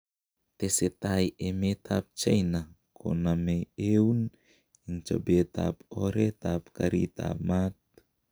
Tesetai emet ab China konaame euun en chobeet ab oreet ab kariit ab maat.